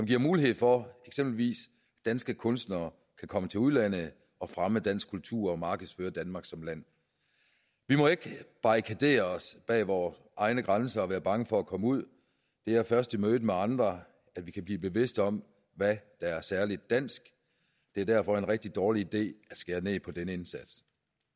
giver mulighed for at eksempelvis danske kunstnere kan komme til udlandet og fremme dansk kultur og markedsføre danmark som land vi må ikke barrikadere os bag vore egne grænser og være bange for at komme ud det er først i mødet med andre at vi kan blive bevidst om hvad der er særligt dansk det er derfor en rigtig dårlig idé at skære ned på denne indsats